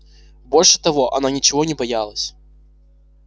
больше того она ничего не боялась